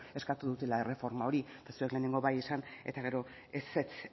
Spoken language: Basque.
eskatu dutela erreforma hori ez lehenengo bai esan eta gero ezetz